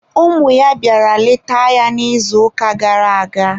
Ụmụ ya bịara leta ya n'izuụka gara aga.